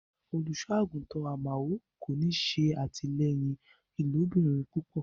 Olúṣọàgúntan Àmaò kò ní sẹ atílẹyìn ilòbìrín púpọ̀.